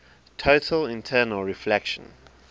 total internal reflection